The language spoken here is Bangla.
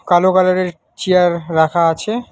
কালো কালারের চেয়ার রাখা আছে।